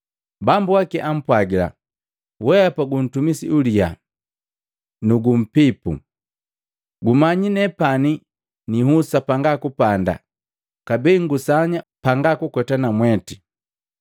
Bambu waki ampwagila, ‘Weapa guntumisi uliya nu umpipu! Gumanyi nepani nihusa panga kupanda, kabee ngusanya panga kukweta namweti.